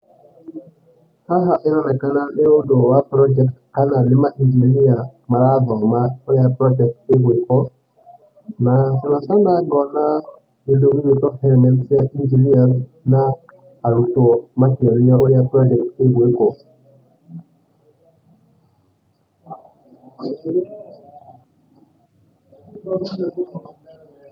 Haha ĩronekana nĩ ũndũ wa project kana nĩ mainjiniya marathoma ũrĩa project ĩgwĩkwo, na ngacoka ngona kĩndũ gĩgwĩtwo helmets cia engineers na arutwo makĩonio ũrĩa project ĩgwĩkwo.